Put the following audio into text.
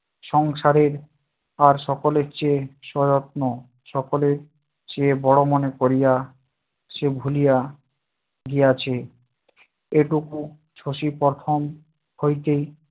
সংসারের আর সকলের চেয়ে সযত্ন সকলের চেয়ে বড় মনে করিয়া, সে ভুলিয়া গিয়াছে, এইটুকু শশী প্রথম হইতেই